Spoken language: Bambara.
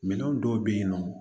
Minɛn dɔw bɛ yen nɔ